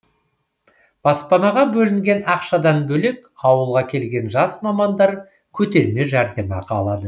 баспанаға бөлінген ақшадан бөлек ауылға келген жас мамандар көтерме жәрдемақы алады